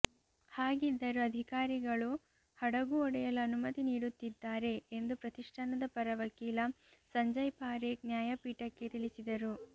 ಹಾಗಿದ್ದರೂ ಅಧಿಕಾರಿಗಳು ಹಡಗು ಒಡೆಯಲು ಅನುಮತಿ ನೀಡುತ್ತಿದ್ದಾರೆ ಎಂದು ಪ್ರತಿಷ್ಠಾನದ ಪರ ವಕೀಲ ಸಂಜಯ್ ಪಾರೇಖ್ ನ್ಯಾಯಪೀಠಕ್ಕೆ ತಿಳಿಸಿದರು